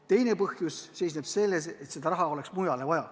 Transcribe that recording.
Teine põhjus seisneb selles, et seda raha oleks mujale vaja.